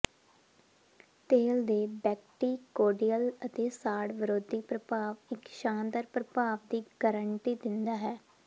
ਤੇਲ ਦੇ ਬੈਕਟੀਕੋਡਿਅਲ ਅਤੇ ਸਾੜ ਵਿਰੋਧੀ ਪ੍ਰਭਾਵ ਇੱਕ ਸ਼ਾਨਦਾਰ ਪ੍ਰਭਾਵ ਦੀ ਗਾਰੰਟੀ ਦਿੰਦਾ ਹੈ